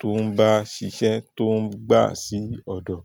tó ń bá ṣiṣẹ́ tó ń gbà sí ọ̀dọ̀